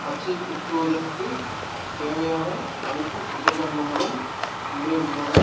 பச்சை குத்துவதற்கு தேவையான அனைத்து உபகரணங்களும் உள்ளே உள்ளன.